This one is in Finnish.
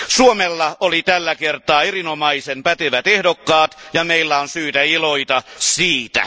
Suomella oli tällä kertaa erinomaisen pätevät ehdokkaat ja meillä on syytä iloita siitä.